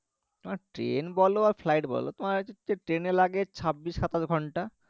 তোমার train বলো আর flight বলো তোমার train এ লাগে ছাব্বিশ সাতাশ ঘন্টা